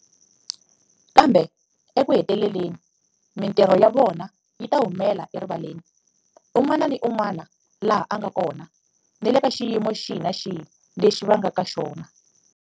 Kambe ekuheteleleni mitirho ya vona yi ta humela erivaleni, un'wana ni un'wana laha a nga kona, ni le ka xiyimo xihi ni xihi lexi va nga na xona.